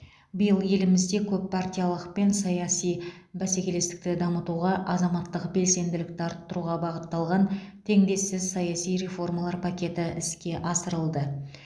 биыл елімізде көппартиялылық пен саяси бәсекелестікті дамытуға азаматтық белсенділікті арттыруға бағытталған теңдессіз саяси реформалар пакеті іске асырылды